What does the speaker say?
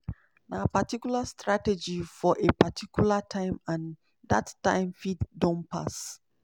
na particular strategy for a particular time and dat time fit don pass."